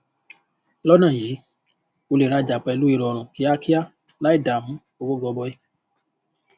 lọnà yìí o lè rajà pẹlú ìrọrùn kíákíá láì dàmú owó gọbọi